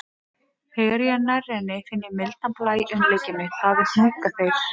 Þegar ég er nærri henni finn ég mildan blæ umlykja mig, það er hnúkaþeyr.